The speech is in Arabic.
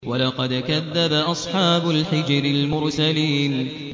وَلَقَدْ كَذَّبَ أَصْحَابُ الْحِجْرِ الْمُرْسَلِينَ